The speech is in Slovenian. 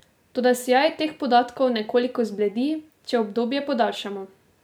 Toda sijaj teh podatkov nekoliko zbledi, če obdobje podaljšamo.